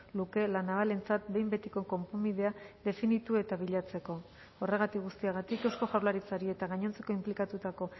luke la navalentzat behin betiko konponbidea definitu eta bilatzeko horregatik guztiagatik eusko jaurlaritzari eta gainontzeko inplikatutako